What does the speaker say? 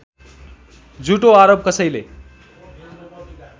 झुठो आरोप कसैले